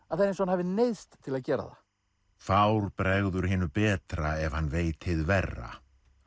er eins og hann hafi neyðst til að gera það fár bregður hinu betra ef hann veit hið verra